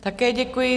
Také děkuji.